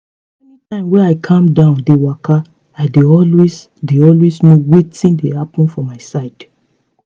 any time wey i calm down dey waka i dey always dey always know wetin dey happen for my side.